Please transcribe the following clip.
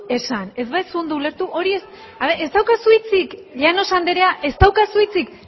esan ez baduzu ondo ulertu hori ez dizu ez daukazu hitzik llanos andrea ez daukazu hitzik